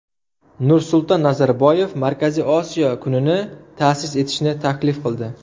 Nursulton Nazarboyev Markaziy Osiyo kunini ta’sis etishni taklif qildi .